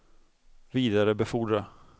vidarebefordra